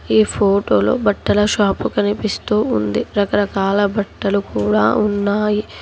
ఈ ఫోటోలో బట్టల షాపు కనిపిస్తూ ఉంది రకరకాల బట్టలు కూడా ఉన్నాయి.